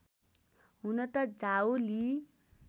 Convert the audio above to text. हुन त झाऊ ली